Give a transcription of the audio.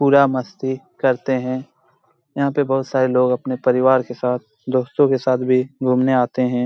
पूरा मस्ती करते है यहां पे बहुत सारे लोग अपने परिवार के साथ दोस्तों के साथ भी घूमने आते हैं।